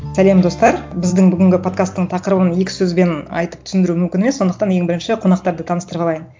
сәлем достар біздің бүгінгі подкасттың тақырыбын екі сөзбен айтып түсіндіру мүмкін емес сондықтан ең бірінші қонақтарды таныстырып алайын